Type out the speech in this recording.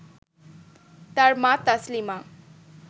তার মা তাসলিমা